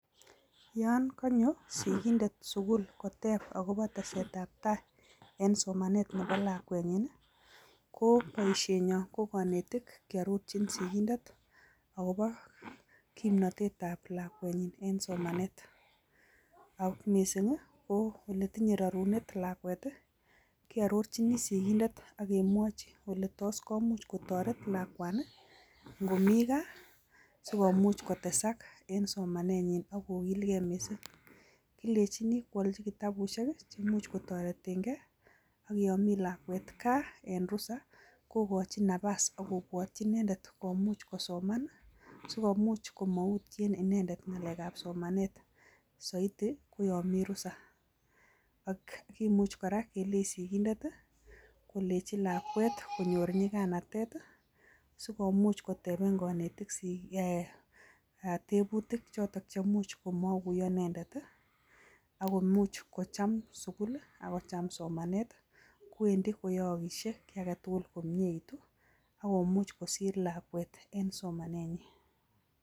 Yaani kanyoo sogindet Eng sugul kotep somanet ap.lakwennyii Eng sugul koteepee kanetik tugun cheai lakwet Eng sugul akocham. somanet Eng sugul